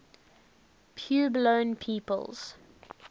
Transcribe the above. puebloan peoples